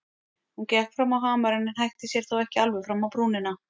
Hún gekk fram á hamarinn en hætti sér þó ekki alveg fram á brúnina.